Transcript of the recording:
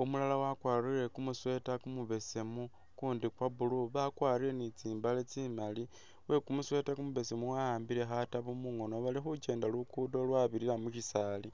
umulala wakwarile kumusweeta kumubesemu kundi kwe blue bakwarile ni tsimbale tsimali, wekumusweeta kumubesemu wambile khatabu mungono balikhikyenda lugudo lwabirila mukyisaali.